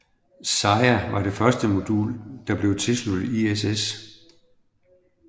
Zarja var det første modul der blev tilsluttet ISS